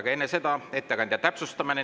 Aga enne seda on ettekandja täpsustamine.